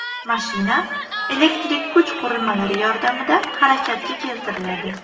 Mashina elektrik kuch qurilmalari yordamida harakatga keltiriladi.